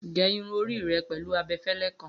Ge irun ori rẹ pẹlu abẹfẹlẹ kan